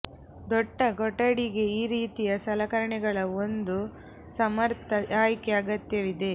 ದೊಡ್ಡ ಕೊಠಡಿಗೆ ಈ ರೀತಿಯ ಸಲಕರಣೆಗಳ ಒಂದು ಸಮರ್ಥ ಆಯ್ಕೆ ಅಗತ್ಯವಿದೆ